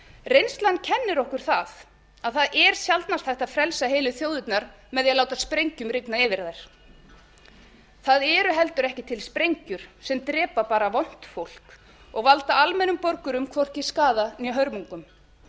reynslan kennir okkur það að það er sjaldnast hægt að frelsa heilu þjóðirnar með því að láta sprengjum rigna yfir þær það eru heldur ekki til sprengjur sem drepa bara vont fólk og valda almennum borgurum hvorki skaða né hörmungum